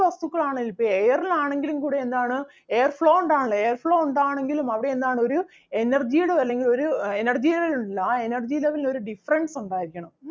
വസ്തുക്കളാണെങ്കിലും ഇപ്പൊ air ൽ ആണെങ്കിലും കൂടി എന്താണ് air flow ഉണ്ടാവണമല്ലോ air flow ഉണ്ടാവണമെങ്കിലും അവിടെ എന്താണ് ഒരു energy ടെ അല്ലെങ്കിൽ ഒരു energy level ഉണ്ടല്ലോ ആ energy level ന് ഒരു difference ഉണ്ടായിരിക്കണം.